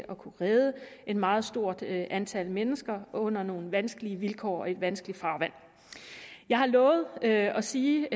at kunne redde et meget stort antal mennesker under nogle vanskelige vilkår i et vanskeligt farvand jeg har lovet at sige